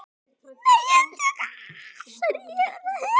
Nei, ég er að djóka.